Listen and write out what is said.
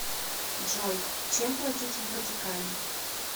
джой чем платить в ватикане